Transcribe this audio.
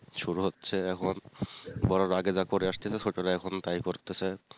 শুরু হচ্ছে এখন বড় রা আগে যা করে আসতেছে ছোট রা এখন তাই করতেছে।